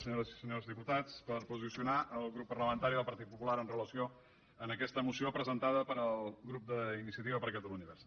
senyores i senyors dipu·tats per posicionar el grup parlamentari del partit popular amb relació a aquesta moció presentada pel grup d’iniciativa per catalunya verds